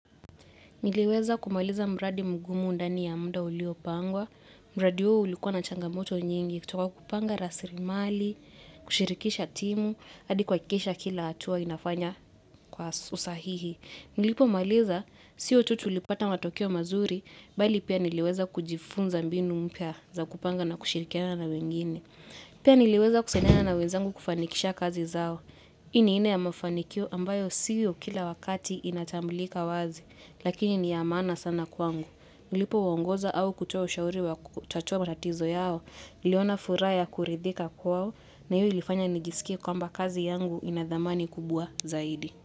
Niliweza kumaliza mradi magumu ndani ya muda ulio pangwa, mradi huo ulikuwa na changamoto nyingi, kutoka kupanga rasilmali, kushirikisha timu, hadi kuhakikisha kila hatua inafanya kwa usahihi. Nilipo maliza, sio tu tulipata matokea mazuri, bali pia niliweza kujifunza mbinu mpya za kupanga na kushirikiana na wengine. Pia niliweza kusaidiana na wenzangu kufanikisha kazi zao. Hii ni aina ya mafanikio ambayo sio kila wakati inatambulika wazi. Lakini ni ya maana sana kwangu. Nilipo uongoza au kutoa ushauri wa kutatua matatizo yao. Niliona furaha ya kuridhika kwao. Na hii ilifanya nijisikie kwamba kazi yangu inathamani kubwa zaidi.